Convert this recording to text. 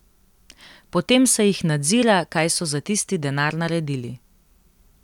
Potem se jih nadzira, kaj so za tisti denar naredili.